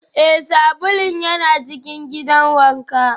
Ee, sabulun yana cikin gidan wanka